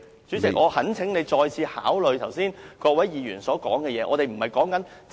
主席，我懇請你再次考慮剛才各位議員表達的意見。